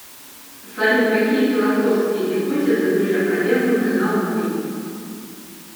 салют какие философские гипотезы были опровергнуты наукой